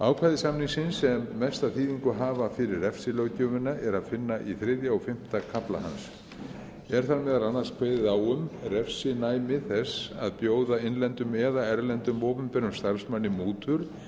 ákvæði samningsins sem mesta þýðingu hafa fyrir refsilöggjöfina er að finna í þriðja og fimmta kafla hans er þar meðal annars kveðið á um refsinæmi þess að bjóða innlendum eða erlendum opinberum starfsmanni mútur